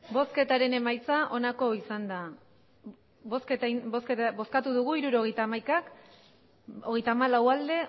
hirurogeita hamaika eman dugu bozka hogeita hamalau bai